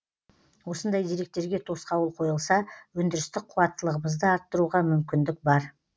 осындай деректерге тосқауыл қойылса өндірістік қуаттылығымызды арттыруға мүмкіндік бар